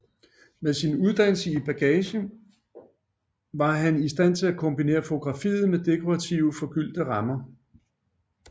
Med sin uddannelse i bagage var han i stand til at kombinere fotografiet med dekorative forgyldte rammer